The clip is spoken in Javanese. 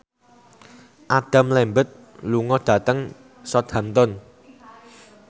Adam Lambert lunga dhateng Southampton